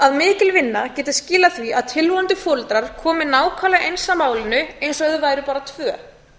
að mikil vinna geti skilað því að tilvonandi foreldrar komi nákvæmlega eins að málinu eins og þau væru bara tvö